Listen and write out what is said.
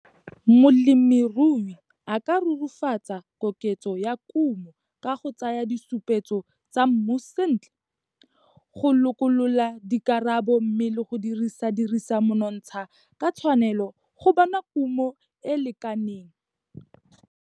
Molemirui a ka rurifatsa koketso ya kumo ka go tsaya disupetso tsa mmu sentle, go lokolola dikarabo mme le go dirisa dirisa monontsha ka tshwanelo go bona kumo e e lekaneng.